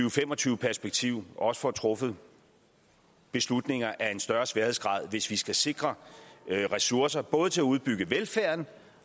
og fem og tyve perspektiv også får truffet beslutninger af en større sværhedsgrad hvis vi skal sikre ressourcer både til at udbygge velfærden